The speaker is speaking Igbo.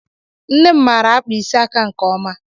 Nne m maara akpa ịsị aka nke ọma.